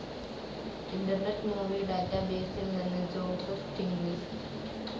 internet movie ഡാറ്റാബേസിൽ നിന്ന് Joseph Stiglitz